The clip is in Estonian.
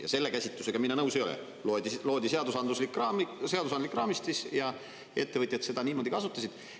Ja selle käsitlusega mina nõus ei ole: loodi seadusandlik raamistik ja ettevõtjad seda niimoodi kasutasid.